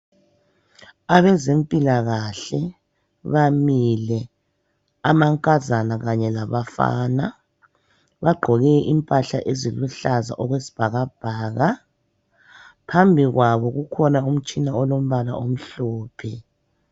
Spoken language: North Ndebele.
Abezempilakahle bamile amankazana kanye labafana bagqoke impahla eziluhlaza okwesibhakabhaka phambi kwabo kukhona umtshina olombala omhlophe.